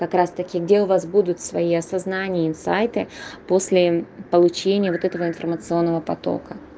как раз-таки где у вас будут свои осознания инсайты после получения вот этого информационного потока